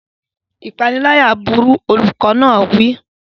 Ìpániláyà burú! Olùkọ́ náà wí.